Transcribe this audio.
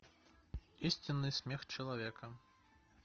истинный смех человека